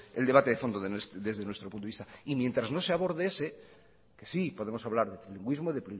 el debate de fondo desde nuestro punto de vista y mientras no se aborde ese que sí podemos hablar de trilingüismo de